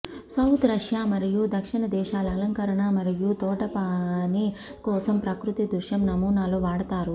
south Russia మరియు దక్షిణ దేశాల అలంకరణ మరియు తోటపని కోసం ప్రకృతి దృశ్యం నమూనాలో వాడతారు